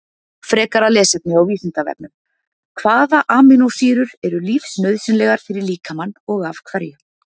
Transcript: Frekara lesefni á Vísindavefnum: Hvaða amínósýrur eru lífsnauðsynlegar fyrir líkamann og af hverju?